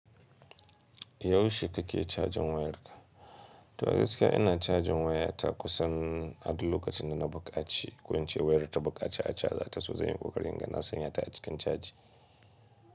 Yaushe kake cajin wayarka? To gaskiya ina cajin wayata kusan a duk lokacin da na buƙaci, ko in ce wayarta buƙaci a caja ta so zanyi kokari inga na sanya ta a cikin caji.